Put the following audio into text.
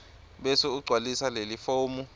bese ugcwalisa lelifomu